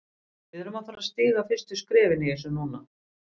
Við erum að fara að stíga fyrstu skrefin í þessu núna.